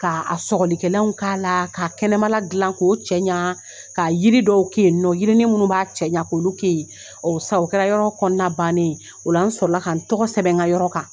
Ka a sɔgɔlikɛlaw k'a la, ka kɛnɛmala dilan k'o cɛ ɲa, ka yiri dɔw kɛ ye nɔ yiriini munnu b'a cɛɲa kolu kɛ yen, ɔ sisan o kɛra yɔrɔ kɔnɔna bannen ye, ola n sɔrɔ ka n togo sɛbɛn n ka yɔrɔ kan.